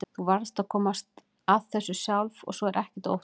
Þú varðst að komast að þessu sjálf og svo er ekkert að óttast.